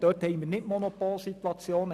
Dort haben wir keine Monopolsituationen.